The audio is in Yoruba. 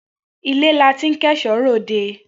Ile la ti n ko eso re ode.